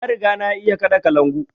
Na riga na iya kaɗa kalangu